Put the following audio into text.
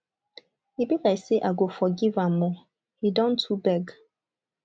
e be like say i go forgive am ooo he don too beg.